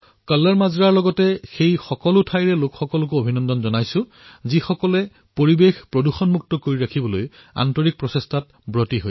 কল্লৰ মাজৰা আৰু সেই স্থানসমূহৰ বাসিন্দাসকলকো অভিনন্দন জনাইছোঁ যিয়ে বাতাৱৰণ স্বচ্ছ কৰি ৰখাৰ বাবে নিজৰ শ্ৰেষ্ঠতম প্ৰয়াস কৰে